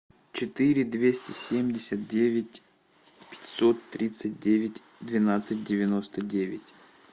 четыре двести семьдесят девять пятьсот тридцать девять двенадцать девяносто девять